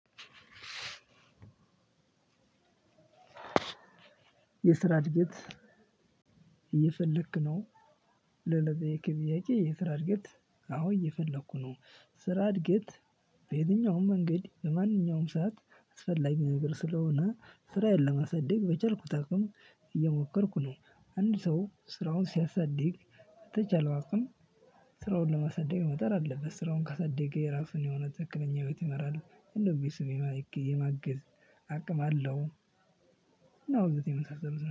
የስራ እድገት እየፈለክ ነው? ለጠየከኝ ጥያቄ የስራ እድገት አሁን እየፈለኩ ነው። ስራ እድገት በየትኛውም መንገድ በማንኛውም ሰዓት አስፈላጊ ነገር ስለሆነ ስራዬን ለማሳደግ በቻልኩት አቅም። እየሞከርኩ ነው አድ ሰው ስራውን ሲያሳድግ በተቻለው አቅም። ስራው ለማሳደግ መሞከር አለበት ስራውን ካሳደገ የራሱን የሆነ ትክክለኛ ሒወት ይመራል እንደውም ቤተሰብን የማገዝ አቅም አለው። ያው እነዚህ መሳሰሉን